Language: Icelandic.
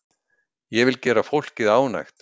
Ég vil gera fólkið ánægt.